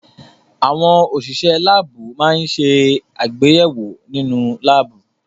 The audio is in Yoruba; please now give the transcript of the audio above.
Àwọn òṣìṣẹ́ láábù máa ń ṣe àgbéyẹ̀wò nínú láábù.